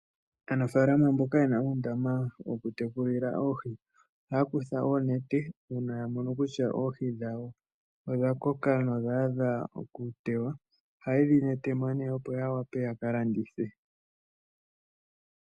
Aanafalama mboka yena uundama woku tekulila oohi, oha ya kutha oonete uuna ya mono kutya oohi dhawo odha koka odha dha okutewa ohaye dhi netemo nee opo ya wape ya kalandithe.